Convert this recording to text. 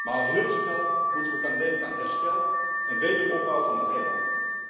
Maar al heel snel moeten we gaan denken aan herstel en wederopbouw van de eilanden.